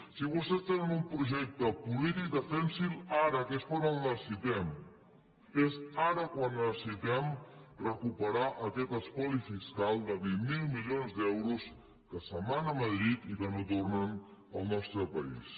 si vostès tenen un projecte polític defensin lo ara que és quan el necessitem és ara quan necessitem recuperar aquest espoli fiscal de vint miler milions d’euros que se’n van a madrid i que no tornen al nostre país